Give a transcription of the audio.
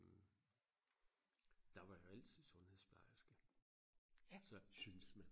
der var jo altid sundhedsplejerske så syntes man